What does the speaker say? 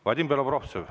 Vadim Belobrovtsev.